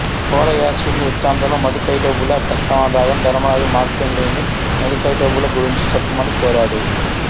కువలయాశ్వుని వృత్తాంతంలో మధుకైటబుల ప్రస్తావన రాగానే ధర్మరాజు మార్కండేయుని మధుకైటబుల గురించి చెప్పమని కోరాడు